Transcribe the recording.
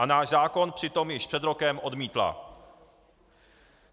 A náš zákon přitom již před rokem odmítla.